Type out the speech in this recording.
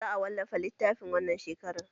Za a wallafa littafin wannan shekarar